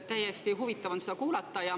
Täitsa huvitav on seda kuulata.